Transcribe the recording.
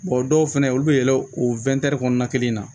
dɔw fɛnɛ olu bɛ yɛlɛn o kɔnɔna kelen na